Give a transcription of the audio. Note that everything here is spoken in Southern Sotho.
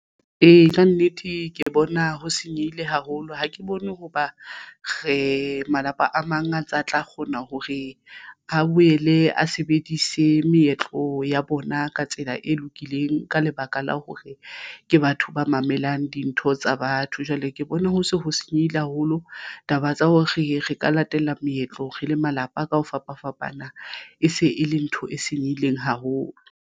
Ee, kannete ke bona ho senyehile haholo ha ke bone hoba re malapa a mang a ntse a tla kgona hore a boele a sebedise meetlo ya bona ka tsela e lokileng ka lebaka la hore ke batho ba mamelang dintho tsa batho jwale ke bona ho se ho senyehile haholo taba tsa hore re ka latela meetlo re le malapa ka ho fapafapana e se e le ntho e senyehileng haholo.